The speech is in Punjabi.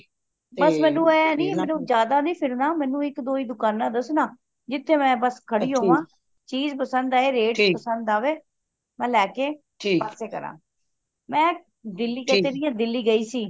ਬੱਸ ਮੈਨੂੰ ਇਹ ਮੈਂ ਜ਼ਿਆਦਾ ਨਹੀਂ ਫਿਰਨਾ ਮੈਨੂੰ ਇੱਕ ਦੋ ਹੀ ਦੁਕਾਨਾਂ ਦਸਣਾ ਜਿਥੇ ਮਈ ਬੱਸ ਖੜੀ ਹੋਵਾਂ ਚੀਜ ਪਸੰਦ ਆਏ rate ਪਸੰਦ ਆਵੇ ਮੈਂ ਲੈ ਕੇ ਪਾਸੇ ਕਰਾ ਮੈਂ ਕਿਹ ਤੇ ਰਹੀ ਹੈ ਦਿੱਲੀ ਗਈ ਸੀ